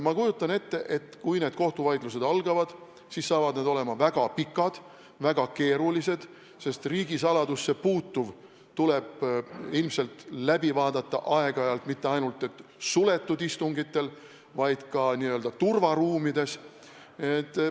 Ma kujutan ette, et kui kohtuvaidlused algavad, siis saavad need olema väga pikad, väga keerulised, sest riigisaladusse puutuv tuleb ilmselt aeg-ajalt läbi arutada mitte ainult suletud istungitel, vaid ka n-ö turvaruumides.